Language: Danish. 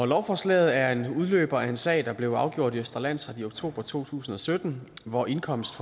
lovforslaget er en udløber af en sag der blev afgjort i østre landsret i oktober to tusind og sytten hvor indkomst